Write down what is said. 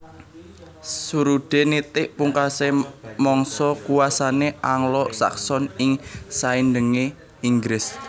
Surudé nitik pungkasé mangsa kuwasané Anglo Sakson ing saindengé Inggris